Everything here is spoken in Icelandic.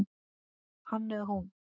Hann eða hún